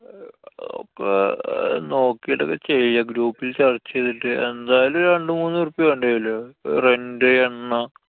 അഹ് അതിപ്പൊ നോക്കിട്ടൊക്കെ ചെയ്യാം. group ല്‍ ചര്‍ച്ച ചെയ്തിട്ട്. എന്തായാലും ഒരു രണ്ട് മൂന്നു ഉറുപ്യാ വേണ്ടി വരില്ലേ? rent, എണ്ണ